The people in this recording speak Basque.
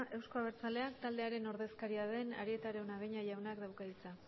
euzko abertzaleak taldearen ordezkaria den arieta araunabeña jaunak dauka hitza